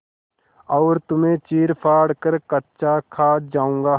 और तुम्हें चीरफाड़ कर कच्चा खा जाऊँगा